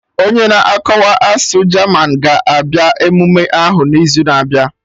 Onye na-akọwa asụsụ German ga-abịa emume ahụ n'izu na-abịa